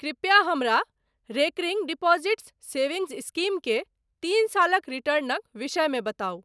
कृपया हमरा recurring deposits savings scheme के तीन सालक रिटर्नक विषयमे बताउ।